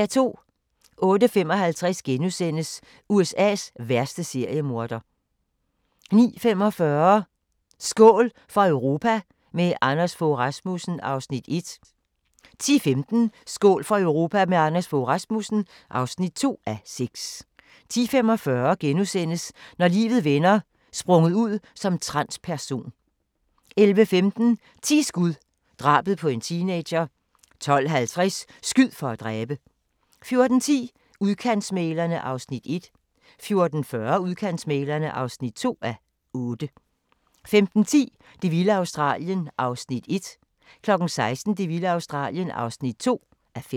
08:55: USA's værste seriemorder * 09:45: Skål for Europa – med Anders Fogh Rasmussen (1:6) 10:15: Skål for Europa – med Anders Fogh Rasmussen (2:6) 10:45: Når livet vender: Sprunget ud som transperson * 11:15: 10 skud – drabet på en teenager 12:50: Skyd for at dræbe! 14:10: Udkantsmæglerne (1:8) 14:40: Udkantsmæglerne (2:8) 15:10: Det vilde Australien (1:5) 16:00: Det vilde Australien (2:5)